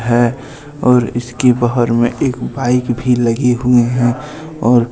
है और इसके बहार में एक बाइक भी लगी हुई हैं और--